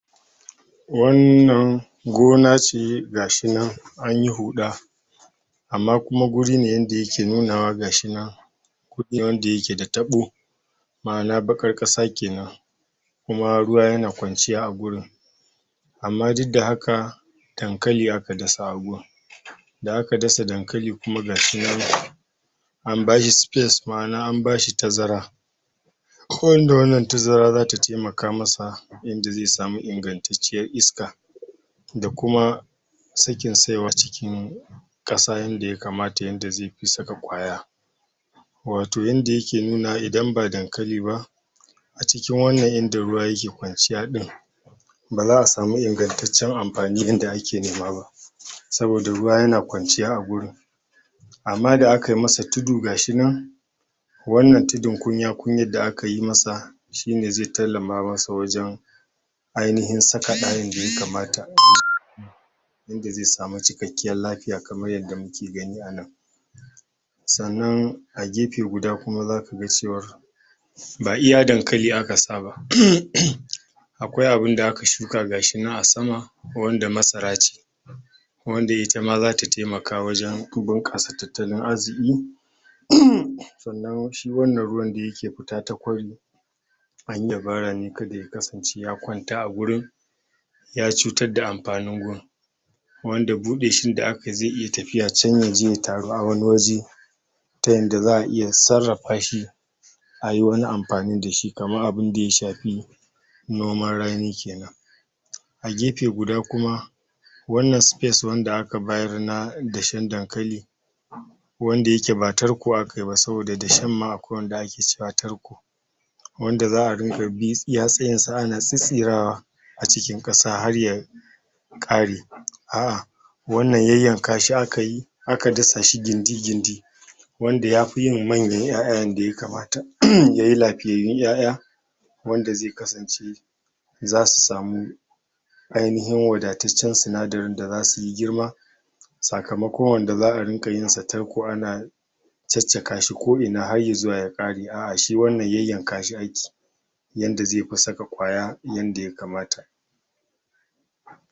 wannan gona ce gashi nan an yi huɗa amma kuma guri ne yanda yake nunawa gashi nan wanda yake da taɓo ma'ana baƙar ƙasa kenan kuma ruwa yana kwanciya agurin amma duk da haka dankali aka dasa a gun da aka dasa dankali kuma gashi nan an bashi space ma'ana an bashi tazara wanda wannan tazara zata temaka masa yanda ze samu ingantacciyar iska da kuma sakin saiwa cikin ƙasa yanda ya kamata yanda ze fi saka ƙwaya wato yanda ya ke nunawa idan ba dankali ba a cikin wannan yanda ruwa ke kwanciya ɗin ba za'a samu ingantaccen amfani yanda ake nema ba saboda ruwa yana kwanciya a gurin amma da aka masa tudu gashi nan wannan tudu kunya-kunya da aka yi masa shine ze tallama masa wajen ainihin saka ɗa yanda ya kamata yanda ze samu cikakken lafiya kamar yanda muke gani a nan sannan a gefe guda kuma zaka ga cewa ba iya dankali aka sa ba akwai abunda aka shuka gashi nan a sama wanda masara ce wanda ita ma zata temaka wajen bunƙasa tattalin arziƙi sannan shi wannan ruwan da yake fita ta kwari anyi dabara ne kada ya kasance ya kwanta a gurin ya cutar da amfanin gun wanda buɗe shi da akayi ze iya can ya je ya taru a wani waje ta yanda za'a iya sarrafa shi ayi wani amfani da shi kamar abunda ya shafi noman rani kenan a gefe guda kuma wannan space wanda aka bayar na dashen dankali wanda yake ba tarko aka yi ba saboda dashen ma akwai wanda ake cewa tarko wanda za'a dinga bi iya tsayinsa ana tsitsirawa a cikin ƙasa har ya ƙare a'a wannan yanyanka shi aka yi aka dasa shi gindi-gindi wanda ya fi yin manyan ƴa'ƴa yanda ya kamata yayi lafiyayyun ƴa'ƴa wanda ze kasance zasu samu ainihin wadataccen sinadarin da zasu yi girma sakamakon wanda za'a ringa yin sa tarko ana caccaka shi ko ina har izuwa ya ƙare a'a shi wannan yanyanka shi ake yanda ze fi saka ƙwaya yanda ya kamata